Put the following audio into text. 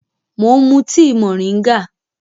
Mò ń mú tíì moringa